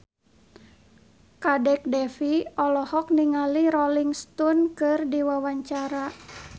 Kadek Devi olohok ningali Rolling Stone keur diwawancara